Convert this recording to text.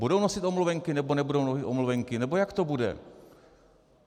Budou nosit omluvenky, nebo nebudou nosit omluvenky, nebo jak to bude?